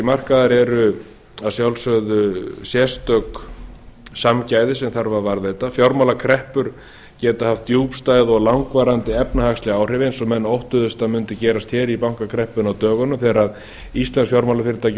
markaðar eru að sjálfsögðu sérstök samgæði sem þarf að varðveita fjármálakreppur geta haft djúpstæð og efnahagsleg áhrif eins og menn óttuðust að mundi gerast í bankakreppunni á dögunum þegar íslensk fjármálafyrirtæki